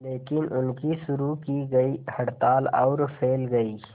लेकिन उनकी शुरू की गई हड़ताल और फैल गई